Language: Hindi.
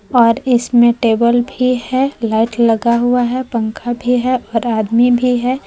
और इसमें टेबल भी है लाइट लगा हुआ है पंखा भी है और आदमी भी है।